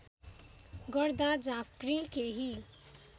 गर्दा झाँक्री केही